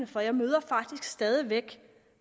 for jeg møder faktisk stadig væk